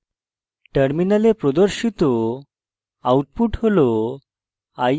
নিম্নলিখিত output terminal প্রদর্শিত হবে